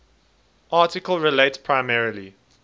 article relates primarily